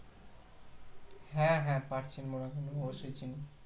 হ্যাঁ হ্যাঁ, পাট চিন বোনা কেন অবশ্যই চিনি।